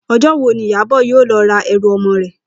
O̩jó̩ wo ni Ìyábò̩ yóò lo̩ ra e̩rù o̩mo̩ rè̩?